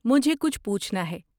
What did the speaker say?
مجھے کچھ پوچھنا ہے۔